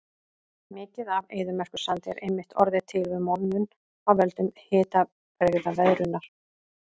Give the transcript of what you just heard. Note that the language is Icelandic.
Mikið af eyðimerkursandi er einmitt orðið til við molnun af völdum hitabrigðaveðrunar.